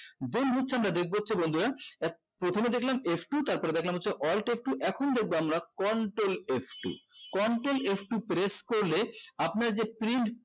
বন্ধু হচ্ছে আমরা দেখবো হচ্ছে আমরা বন্ধুরা এক প্রথমে দেখলাম f two তারপরে দেখলাম হচ্ছে alt f two এখন দেখবো আমরা control f two control f two press করলে আপনার যে print